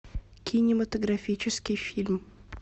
кинематографический фильм